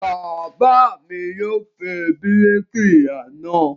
Bàbá mi yóò pe bíríkìlà náà.